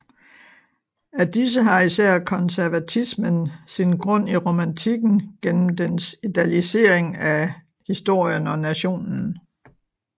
Af disse har især konservatismen sin grund i romantikken gennem dens idealisering af historien og nationen